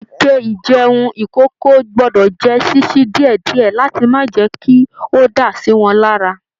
Ike ijẹun ikòkò gbọdọ jẹ ṣiṣi diẹdiẹ láti má jẹ́ kí o dá siwọn lára.